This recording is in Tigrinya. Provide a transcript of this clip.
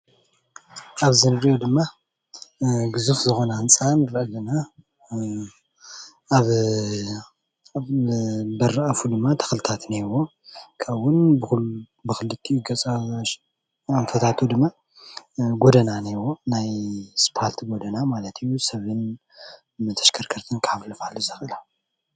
ኣብዚ ንሪእ ድማ ግዙፍ ዝኾነ ህንፃ ንርኢ ኣለና ። ኣብ በሪ ኣፋ ድማ ተኽልታት እውን እንሄዎ። ካብኡውን ብኽሊቲኡ ገፅ ኣንፈታቱ ድማ ጎደና እንሄዎ ናይ ኣስፋልቲ ጎደና ማለት እዩ። ሰብን ተሽከርከርትን ከሕልፍ ዝኽእል።